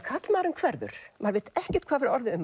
karlmaðurinn hverfur maður veit ekkert hvað hefur orðið um